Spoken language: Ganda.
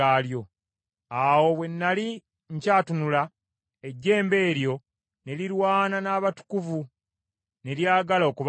Awo bwe nnali nkyatunula, ejjembe eryo ne lirwana n’abatukuvu ne lyagala okubawangula,